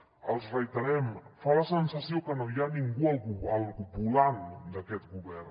els ho reiterem fa la sensació que no hi ha ningú al volant d’aquest govern